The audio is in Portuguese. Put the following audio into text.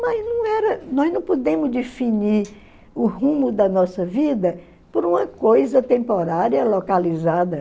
Mas não era nós não pudemos definir o rumo da nossa vida por uma coisa temporária, localizada.